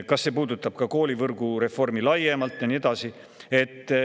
Kas see puudutab ka koolivõrgureformi laiemalt?